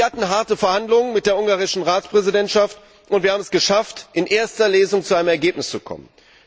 Wir hatten harte Verhandlungen mit der ungarischen Ratspräsidentschaft, und wir haben es geschafft, in erster Lesung zu einem Ergebnis zu kommen.